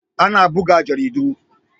Ana buga jaridu.